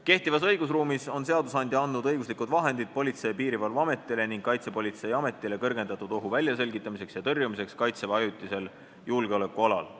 Kehtivas õigusruumis on seadusandja andnud õiguslikud vahendid Politsei- ja Piirivalveametile ning Kaitsepolitseiametile kõrgendatud ohu väljaselgitamiseks ja tõrjumiseks Kaitseväe ajutisel julgeolekualal.